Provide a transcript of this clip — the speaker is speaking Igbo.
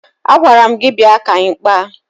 Agwara m gị bịa ka anyị kpaa!